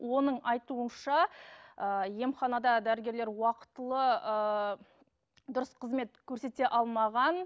оның айтуынша ыыы емханада дәрігерлер уақытылы ыыы дұрыс қызмет көрсете алмаған